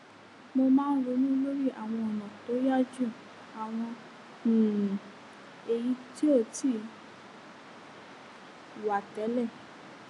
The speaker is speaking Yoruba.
mo máa ń ronú lórí àwọn ònà tó yá ju àwọn um èyí tó ti wà tẹlẹ